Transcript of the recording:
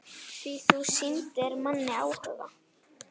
Því þú sýndir manni áhuga.